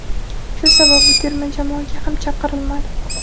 Shu sabab u terma jamoaga ham chaqirilmadi.